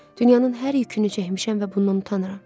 Dünyanın hər yükünü çəkmişəm və bundan utanıram.